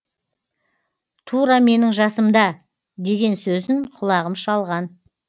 тура менің жасымда деген сөзін құлағым шалған